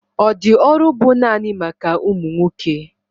Ọ di ọrụ bu naanị maka ụmụ nwoke